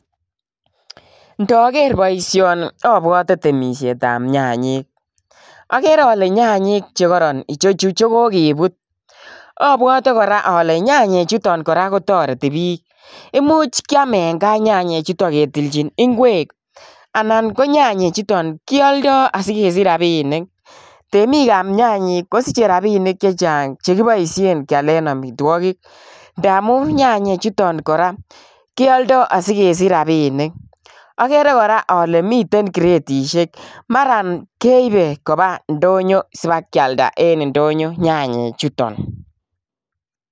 Ndoker boishoni obwote temishetab nyanyik, okere olee nyanyik chekoron ichechu chokokebut, obwote kora olee nyanyichuton kora kotoreti biik, imuuch kiam en kaa nyanyichuton ketilchin ing'wek anan konyanyichuton kioldo asikesich rabinik, temikab nyanyik kosiche rabinik chechang chekiboishen kialen amitwokik, ndamun nyanyi chuton korak, kioldo korak asikesich rabinik, okeree kora olee miten gretisheek maraan keibe kobaa ndonyo sibakialda en ndonyo nyanyichuton.